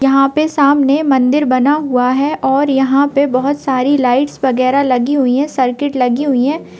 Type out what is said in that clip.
यहाँ पे सामने मन्दिर बना हुआ है और यहाँ पे बहोत सारी लाइट्स वगेरह लगी हुई हैं सर्किट लगी हुई हैं।